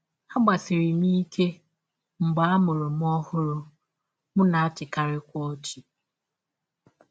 Agbasiri m ike mgbe a mụrụ m ọhụrụ, m na - achịkarịkwa ọchị.